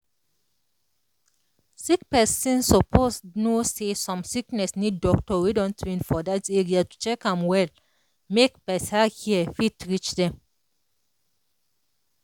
sick person suppose know say some sickness need doctor wey don train for that area to check am well make better care fit reach dem.